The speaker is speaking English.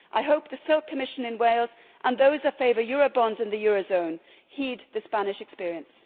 I hope the Silk Commission in Wales and those that favour eurobonds in the eurozone heed the Spanish experience.